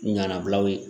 Ɲanabilaw ye